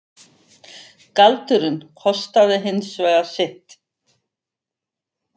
Galdurinn kostaði hins vegar sitt.